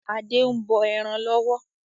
Adé ń bọ ẹran lọ́wọ́.